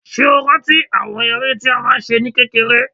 Ṣé o rántí àwọn eré tí a máa ń ṣe ní kékeré?